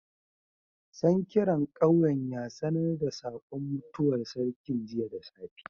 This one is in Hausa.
Sankiran ƙauyen ya sanar da saƙon mutuwar sarkin jiya da safe.